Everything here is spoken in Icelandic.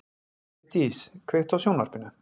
Geirdís, kveiktu á sjónvarpinu.